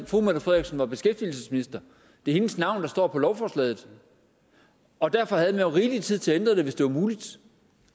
fru mette frederiksen var beskæftigelsesminister det er hendes navn der står på lovforslaget og derfor havde rigelig tid til at ændre det hvis det var muligt